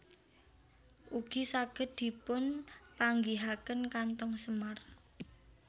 Ugi saged dipun panggihaken kantong semar